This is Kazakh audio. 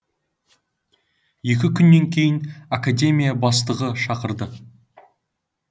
екі күннен кейін академия бастығы шақырды